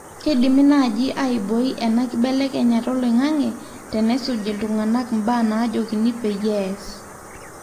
keidimi naaji aiboi enaa kibelekenya oloingange tenesuj iltungana mbaa najokini peyie ees